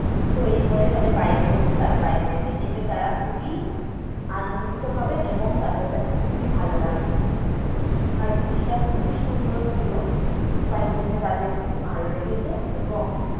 তৈরী কোরে তাদের বাড়ির লোকেদের surprise দেবে, এতে তারা খুবই আনন্দিত হবে এবং তাদের কাছে খুবই ভালো লাগবে। আর জিনিসটা খুবই সুন্দর ছিল তাই জন্য তাদের খুব ভালো লেগেছে এবং